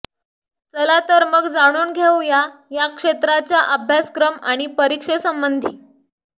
चला तर मग जाणून घेऊया या क्षेत्राच्या अभ्यासक्रम आणि परीक्षेसंबंधी